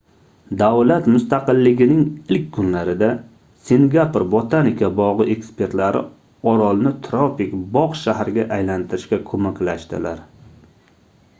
davlat mustaqilligining ilk kunlarida singapur botanika bogʻi ekspertlari orolni tropik bogʻ shaharga aylantirishga koʻmaklashdilar